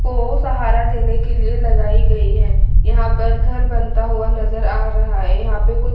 को सहारा देने के लिए लगाई गई है यहां पर घर बनता हुआ नजर आ रहा है यहां पे कु--